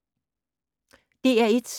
DR1